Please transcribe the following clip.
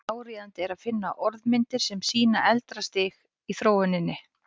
Áríðandi er að finna orðmyndir sem sýna eldra stig í þróuninni.